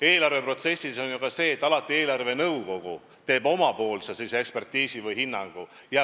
Eelarveprotsessi iseloomustab ju ka see, et eelarvenõukogu teeb alati omapoolse ekspertiisi ja annab oma hinnangu.